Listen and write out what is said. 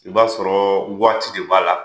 I b'a sɔrɔ waati de b'a la